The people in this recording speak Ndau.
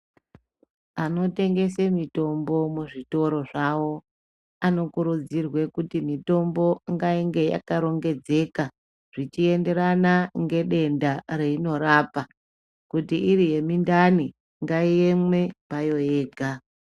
Anotengese mitombo muzvitoro zvavo, anokurudzirwe kuti mitombo ngayinge yakarongedzeka, zvichienderana ngedenda reyinorapa, kuti iri yemindani, ngayiyeme payo yega.